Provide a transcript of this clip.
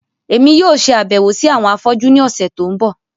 Èmi yóò ṣe àbẹ̀wò si àwọn afọ́jú ni ọ̀sẹ̀ to n bọ.